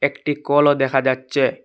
একটি কলও দেখা যাচচে ।